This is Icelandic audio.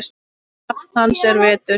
Nafn hans er Vetur.